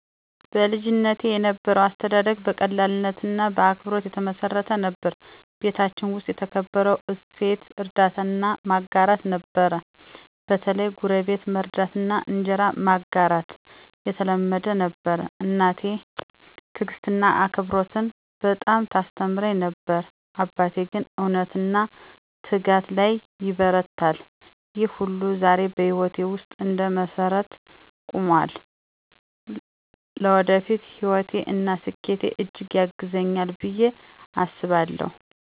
በልጅነቴ የነበረው አስተዳደግ በቀላልነትና በአክብሮት የተመሰረተ ነበር። ቤታችን ውስጥ የተከበረው እሴት እርዳታና ማጋራት ነበር፤ በተለይ ጎረቤት መርዳትና እንጀራ መጋራት የተለመደ ነበር። እናቴ ትዕግስትንና አክብሮትን በጣም ታስተምረኝ ነበር፣ አባቴ ግን እውነትና ትጋት ላይ ይበረታል። ይህ ሁሉ ዛሬ በህይወቴ ውስጥ እንደ መሰረት ቆሞአል። ለወደፊት ህይወቴ እና ስኬቴ እጅግ ያግዘኛል ብየ አስባለሁ።